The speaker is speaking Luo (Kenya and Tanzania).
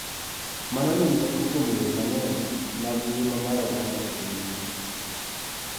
Mano nigi teko kuom yore mang�eny mag ngima mar oganda e pinyno.